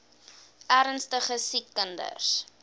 ernstige siek kinders